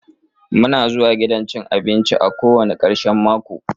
Muna zuwa gidan abinci daban-daban kowani karshen mako.